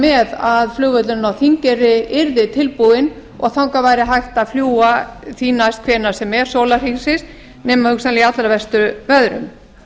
með að flugvöllurinn á þingeyri yrði tilbúinn og þangað væri hægt að fljúga því næst hvenær sem er sólarhringsins nema hugsanlega í allra verstu veðrum